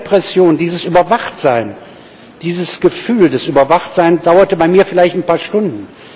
Diese Repression, dieses Überwachtsein, dieses Gefühl des Überwachtseins dauerte bei mir vielleicht ein paar Stunden.